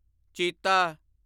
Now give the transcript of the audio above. ਚੀਤਾ